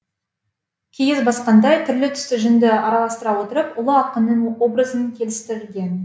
киіз басқандай түрлі түсті жүнді араластыра отырып ұлы ақынның образын келістірген